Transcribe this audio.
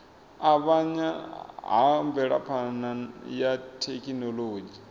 avhanya ha mvelaphana ya thekhinolodzhi